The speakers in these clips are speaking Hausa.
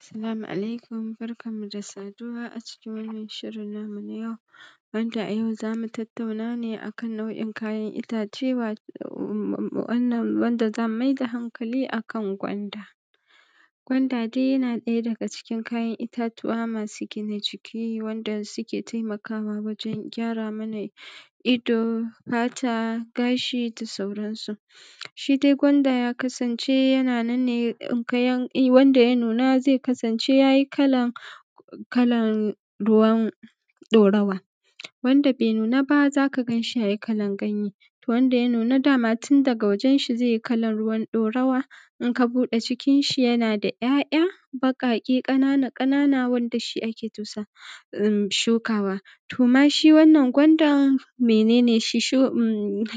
As-salamu ʿalaikum. Barkanmu da saduwa a cikin wannan shirin namu na yau, wanda a yau za mu tattauna ne a kan nau’in kayan itace, wanda za mu maida haŋƙali a kan gwanda. Gwanda dai yana ɗaya daga cikin kayan itatuwa masu gina jiki, wanda suke taimakawa wajen gyara mana ido, fata, gashi da sauransu. Shi dai gwanda ya kasance yana nan ne wanda ya nuna, zai kasance ya yi kalan ruwan ɗorawa; wanda ba ya nuna, za ka gan shi ya yi kalan ganye. Wanda ya nuna, dama tun daga wajen shi zai yi kalan ruwan ɗorawa, in ka buɗe cikinshi, yana da ‘ya’ya baƙake ƙanana-ƙanana, wanda shi ake shukawa. To, amma shi wannan gwandan, mene ne shi?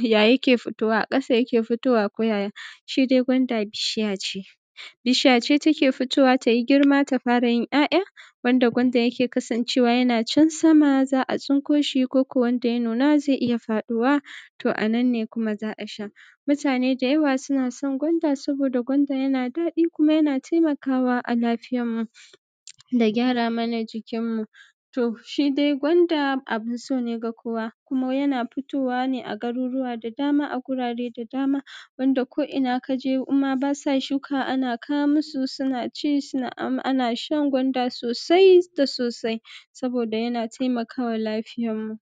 Ya yake futowa a ƙasa? Yake futowa ko yaya? Shi dai gwanda bishiya ce, take fitowa, tayi girma, ta fara yin ‘ya’ya, wanda gwanda yake kasancewa yana can sama, za a tsinƙo shi. Ko kuma wanda ya nuna, zai iya faɗuwa. To a nan ne kuma za a sha, mutane da yawa suna son gwanda. Saboda gwanda yana daɗi, kuma yana taimakawa a lafiyanmu, da gyara mana jikinmu. To, shi dai gwanda abun so ne ga kowa, kuma yana futowa ne a garurwa da dama, a gurare da dama. Wanda ko’ina ka je, in ma ba sa shukawa, ana kawo musu, suna ci, ana shan gwanda sosai da sosai, saboda yana taimakawa lafiyanmu.